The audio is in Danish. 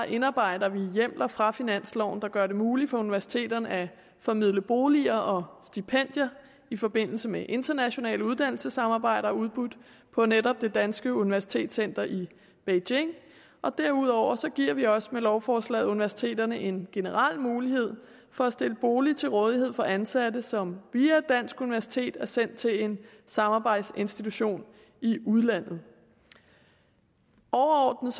indarbejder vi hjemler fra finansloven der gør det muligt for universiteterne at formidle boliger og stipendier i forbindelse med internationale uddannelsessamarbejder udbudt på netop det danske universitetscenter i beijing og derudover giver vi også med lovforslaget universiteterne en generel mulighed for at stille boliger til rådighed for ansatte som via et dansk universitet er sendt til en samarbejdsinstitution i udlandet overordnet